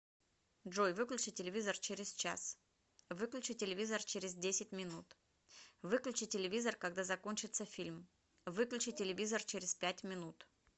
джой выключи телевизор через час выключи телевизор через десять минут выключи телевизор когда закончится фильм выключи телевизор через пять минут